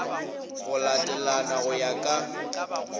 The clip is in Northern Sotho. go latelana go ya ka